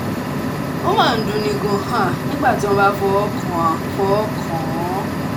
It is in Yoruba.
ó máa ń dunni gan-an nígbà tí wọ́n bá fọwọ́ kàn án fọwọ́ kàn án